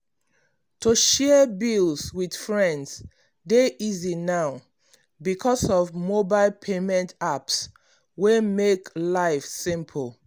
to share bills with friends dey easy now because of mobile payment apps wey make life simple.